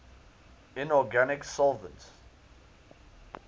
inorganic solvents